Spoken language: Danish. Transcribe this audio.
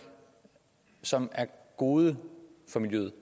som er gode for miljøet